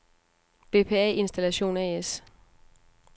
Bpa Installation A/S